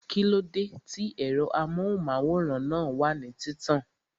Kíló dé tí ẹ̀rọ amóhùnmáwòrán náà wà ní títàn?